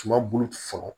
Suman bolo fɔlɔ